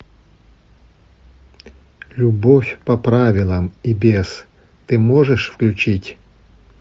любовь по правилам и без ты можешь включить